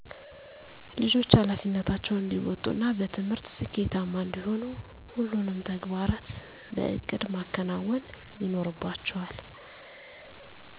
ልጆች ሀላፊነታቸውን እንዲወጡ እና በትምህርት ስኬታማ እንዲሆኑ ሁሉንም ተግባራት በእቅድ ማከናወን ይኖርባቸዋል